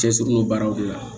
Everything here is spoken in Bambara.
Cɛ sirilen baaraw de la